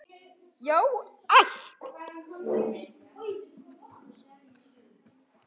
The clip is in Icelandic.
Já, allt!